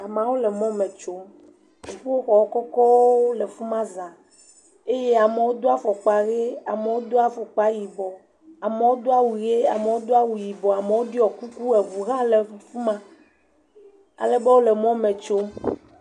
Amawo le mɔ me tsom, dziƒoxɔ kɔkɔwo le fi ma za eye amewo do afɔkpa he amewo do afɔkpa yibɔ, amewo do awu ʋe amewo do awu yibɔ amewo ɖɔ kuku eŋu hã le fi ma.alebe wole mɔme tsom.